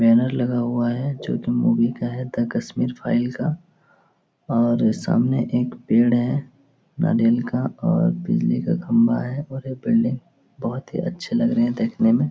Banner लगा हुआ है जो कि मूवी का है द कश्मीर फाइल का और सामने एक पेड़ है नारियल का और बिजली का खम्भा है और ये बिल्डिंग बहोत ही अच्छे लग रहे है देखने में ।